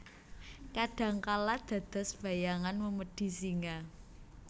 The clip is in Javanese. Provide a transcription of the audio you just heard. Kadang kala dados bayangan memedi singa